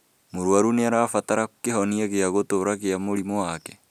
Mũrwaru nĩarabatara kĩhonia gĩa gũtũra kĩa mũrimũ wake